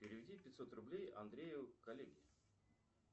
переведи пятьсот рублей андрею коллеге